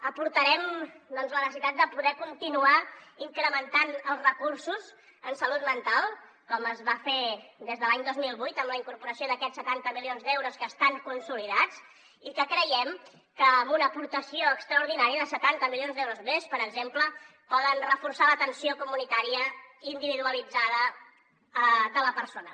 aportarem doncs la necessitat de poder continuar incrementant els recursos en salut mental com es va fer des de l’any dos mil vuit amb la incorporació d’aquests setanta milions d’euros que estan consolidats i que creiem que amb una aportació extraordinària de setanta milions d’euros més per exemple poden reforçar l’atenció comunitària individualitzada de la persona